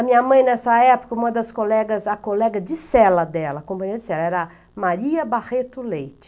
A minha mãe, nessa época, uma das colegas, a colega de cela dela, companheira de cela, era Maria Barreto Leite.